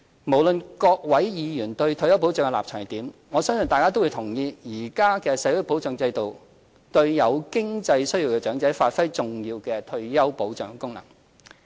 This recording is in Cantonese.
無論各位議員對退休保障的立場為何，我相信大家都同意，現行社會保障制度對有經濟需要的長者發揮了重要的退休保障功能。